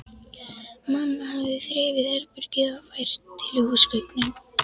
Mamma hafði þrifið herbergið og fært til húsgögnin.